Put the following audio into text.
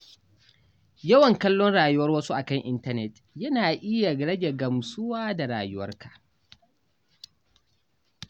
Yawan kallon rayuwar wasu a kan intanet na iya rage gamsuwa da rayuwarka.